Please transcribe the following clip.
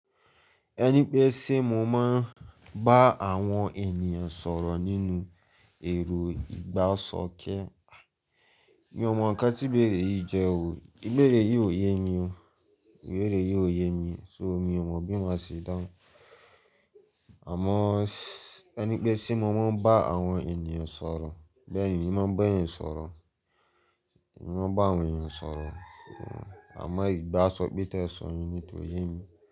Ẹni pé ṣé mo máa ń bá àwọn ènìyàn sọ̀rọ̀ nínú èrò ìgbáṣọkẹ́. Mi ò mọ nǹkan tí ìbéèrè yìí jẹ́ o. Ìbéèrè yìí ò ye mi o. Ìbéèrè yìí ò ye mi, so mi ò mọ bí mo ṣe dáhùn. Àmọ́ ẹni pé ṣé mo máa ń bá àwọn ènìyàn sọ̀rọ̀, bẹ́ẹ̀ ni, mo máa ń bá ènìyàn sọ̀rọ̀. Mo máa ń bá àwọn ènìyàn sọ̀rọ̀, àmọ́ ìgbáṣọkẹ́ tó ẹ sọ yẹn ni kò ye mi.